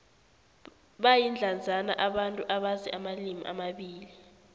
bayindlandzana abantu abazi amalimi amabili